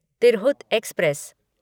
Tirhut express